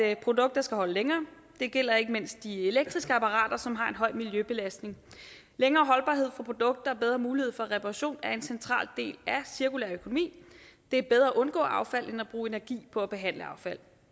at produkter skal holde længere det gælder ikke mindst de elektriske apparater som har en høj miljøbelastning længere holdbarhed for produkter og bedre mulighed for reparation er en central del af cirkulær økonomi det er bedre at undgå affald end at bruge energi på at behandle affald